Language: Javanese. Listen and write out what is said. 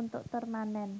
untuk turnamen